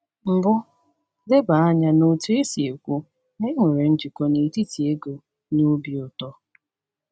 Mbụ, leba anya n’otu e si ekwu na e nwere njikọ n’etiti ego na obi ụtọ.